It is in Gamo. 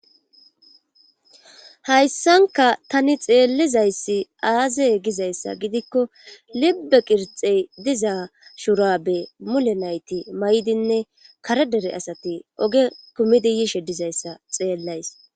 Hayssanka tani xeellizayssi aazey gizayssa gidikko libbe qirxey dizaa shurabe mule nayti maydinne karedere asati oge kumidi yishe dizayssa xeellays.